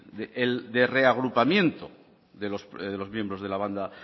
el de reagrupamiento de los miembros de la banda